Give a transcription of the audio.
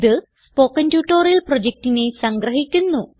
ഇത് spoken tutorial പ്രൊജക്റ്റിനെ സംഗ്രഹിക്കുന്നു